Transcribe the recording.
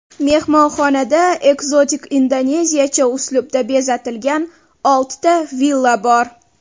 Mehmonxonada ekzotik indoneziyacha uslubda bezatilgan oltita villa bor.